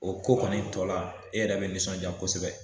O ko kɔni tɔ la, e yɛrɛ be nisɔndiya kosɛbɛ.